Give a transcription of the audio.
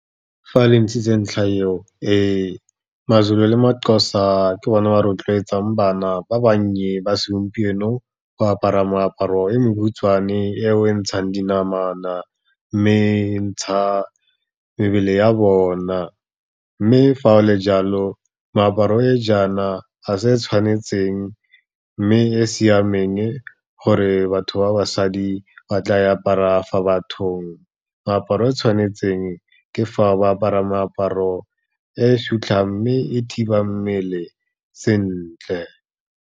Fa a le ntshitse ntlha eo, maZulu le maXhosa ke bona ba rotloetsang bana ba bannye ba segompieno, go apara moaparo e mokhutswane eo e ntshang dinamana, mme e ntsha mebele ya bona. Mme fa o le jalo, meaparo e jaana a se e tshwanetseng, mme e e siameng gore batho ba basadi ba tla e apara fa bathong. Meaparo e tshwanetseng ke fa ba apara meaparo e sutlhang, mme e thiba mmele sentle.